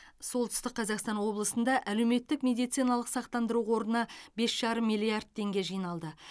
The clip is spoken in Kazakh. солтүстік қазақстан облысында әлеуметтік медициналық сақтандыру қорына бес жарым миллиард теңге жиналды